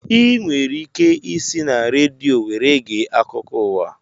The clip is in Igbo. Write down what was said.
Ị nwere ike isi na redio were gee akụkọ ụwa